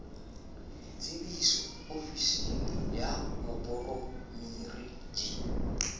tsebiso ofising ya moporemiri di